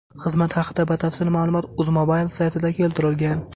Xizmat haqida batafsil ma’lumot UzMobile saytida keltirilgan .